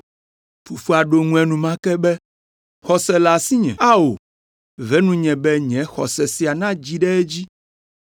Fofoa ɖo eŋu enumake be, “Xɔse le asinye. Ao, ve nunye be nye xɔse sia nadzi ɖe edzi!”